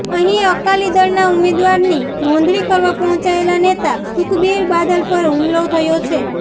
અહીં અકાલી દળના ઉમેદવારની નોંધણી કરવવા પહોંચેલા નેતા સુખબીર બાદલ પર હુમલો થયો છે